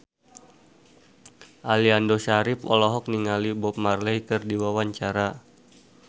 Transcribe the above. Aliando Syarif olohok ningali Bob Marley keur diwawancara